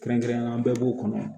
Kɛrɛnkɛrɛnnenya bɛɛ b'u kɔnɔ